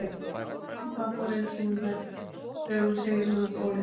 Og það fór einsog hún hélt þegar hún segir honum frá óléttunni.